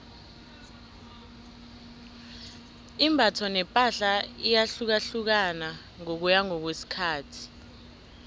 imbatho nepahla iyahlukahlukana ngokuya ngokwesikhathi